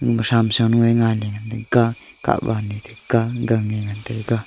ema thamsa lungye ngailey ngantaga kawan ye taga gangye ngantaga.